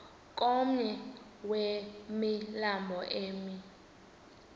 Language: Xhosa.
komnye wemilambo emi